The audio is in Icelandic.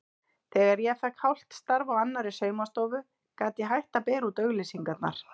Þegar ég fékk hálft starf á annarri saumastofu gat ég hætt að bera út auglýsingarnar.